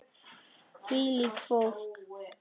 Hvílíkt fólk!